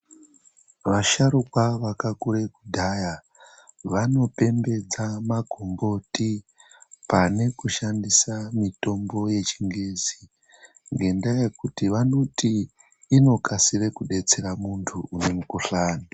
Vasharukwa vakakura kudhaya vano pembedza magomboti pane kushandisa mitombo yechingezi ngendaa yekuti vanoti inokasira kedetsera mundu mumukuhlani.